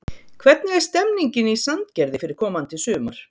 Hvernig er stemmingin í Sandgerði fyrir komandi sumar?